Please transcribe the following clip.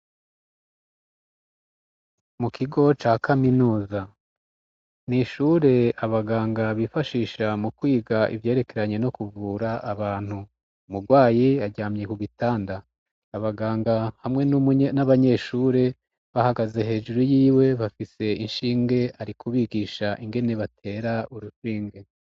Mu kigo ca kaminuza, n'ishure abaganga bifashisha mu kwiga ivyerekeranye no kuvura abantu, umurwayi aryamye ku gitanda, abaganga hamwe n'abanyeshure bahagaze hejuru yiwe, bafise inshinge ari kubigisha ingene batera urushinge.